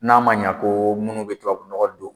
N'a ma ɲɛ ko minnu bɛ tubabunɔgɔ don